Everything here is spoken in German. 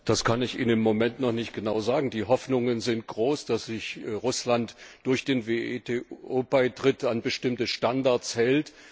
Das kann ich Ihnen im Moment noch nicht genau sagen, die Hoffnungen sind groß, dass sich Russland durch den WTO Beitritt an bestimmte Standards hält.